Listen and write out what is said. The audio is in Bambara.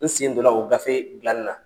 N sen don na o gafe gilani na.